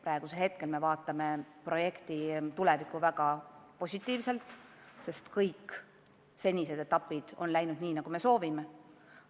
Praegu me aga vaatame tulevikku väga positiivselt, sest kõik senised etapid on läinud nii, nagu me soovime.